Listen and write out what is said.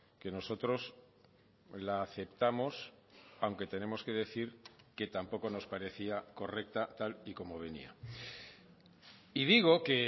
que nosotros la aceptamos aunque tenemos que decir que tampoco nos parecía correcta tal y como venía y digo que